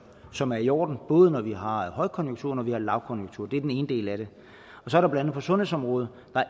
som er i orden både når vi har højkonjunktur og når vi har lavkonjunktur det er den ene del af det så er der sundhedsområdet og